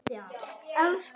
Þú ert mín sól.